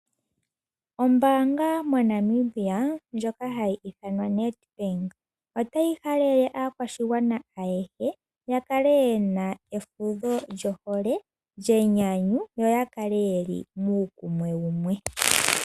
Ombaanga mo Namibia ndjoka hayi ithanwa Nedbank otayi halele aakwashigwana ayehe yakale yena efudho lyohole lyenyanyu ,lyenyanyu yo yakale yeli muukunwe wumwe.